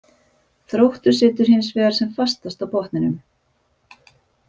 Þróttur situr hinsvegar sem fastast á botninum.